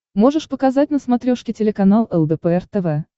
можешь показать на смотрешке телеканал лдпр тв